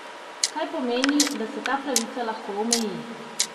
Kaj pomeni, da se ta pravica lahko omeji?